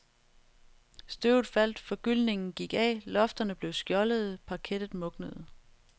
Støvet faldt, forgyldningen gik af, lofterne blev skjoldede, parkettet mugnede.